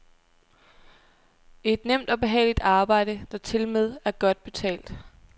Et nemt og behageligt arbejde, der tilmed er godt betalt.